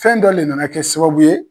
Fɛn dɔ le nana kɛ sababu ye.